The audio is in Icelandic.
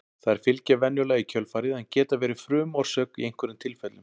þær fylgja venjulega í kjölfarið en geta verið frumorsök í einhverjum tilfellum